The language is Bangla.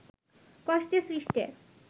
কষ্টে সৃষ্টে